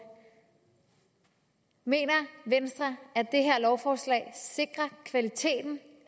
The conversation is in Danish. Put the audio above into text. mener venstre at det her lovforslag sikrer kvaliteten